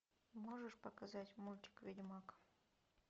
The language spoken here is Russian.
можешь показать мультик ведьмак